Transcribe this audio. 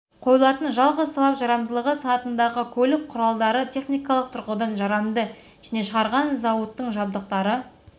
қойылатын жалғыз талап жарамдылығы санатындағы көлік құралдары техникалық тұрғыдан жарамды және шығарған зауыттың жабдықтары